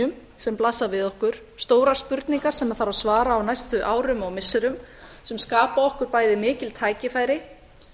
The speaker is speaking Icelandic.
nauðsynja sem blasa við okkur stórar spurningar sem þarf að svara á næstu árum og missirum sem skapa okkur bæði mikil tækifæri